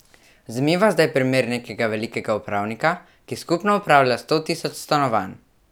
Vzemiva zdaj primer nekega velikega upravnika, ki skupno upravlja sto tisoč stanovanj.